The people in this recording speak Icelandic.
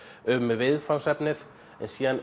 um viðfangsefnið en síðan